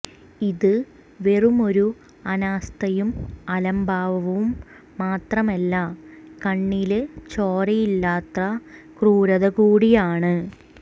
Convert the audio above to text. ഇത് വെറുമൊരു അനാസ്ഥയും അലംഭാവവും മാത്രമല്ല കണ്ണില് ചോരയില്ലാത്ത ക്രൂരത കൂടിയാണ്